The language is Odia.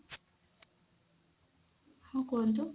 ହଁ କୁହନ୍ତୁ